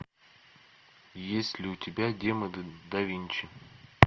есть ли у тебя демоны да винчи